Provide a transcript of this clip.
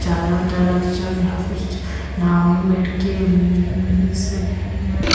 चारों तरफ से यहां कुछ ना हो में बैठ के जैसे --